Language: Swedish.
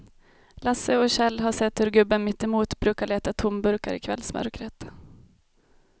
Lasse och Kjell har sett hur gubben mittemot brukar leta tomburkar i kvällsmörkret.